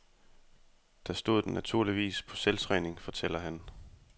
Der stod den naturligvis på selvtræning, fortæller han.